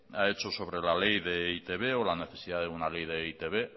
ha hecho sobre la ley de e i te be o la necesidad de una ley de e i te be